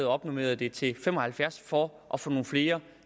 opnormerede det til fem og halvfjerds for at få nogle flere